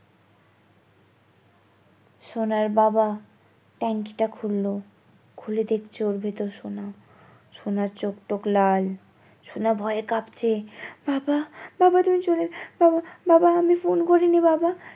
সোনার বাবা টাংকিটা খুললো খুলে দেখছে ওর ভেতর সোনা সোনার চোখ টোখ লাল সোনা ভয়ে কাঁপছে বাবা বাবা তুমি চলে বাবা বাবা আমি ফোন করিনি বাবা